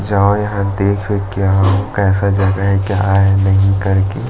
जाओ यहाँ देख वेख के आओ कैसा जगह है क्या है नहीं कर के --